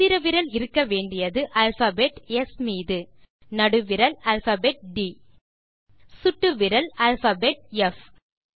மோதிர விரல் இருக்க வேண்டியது அல்பாபெட் ஸ் மீது நடுவிரல் அல்பாபெட் ட் சுட்டு விரல் அல்பாபெட் ப்